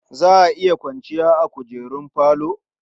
Za a iya kwanciya a kujerun falo.